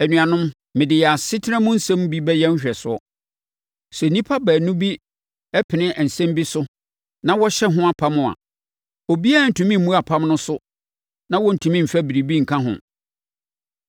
Anuanom, mede yɛn asetena mu asɛm bi bɛyɛ nhwɛsoɔ: Sɛ nnipa baanu bi pene asɛm bi so na wɔyɛ ho apam a, obiara rentumi mmu apam no so na wɔrentumi mfa biribi nka ho.